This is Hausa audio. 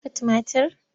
Ka shuka tumatir?